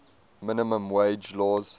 minimum wage laws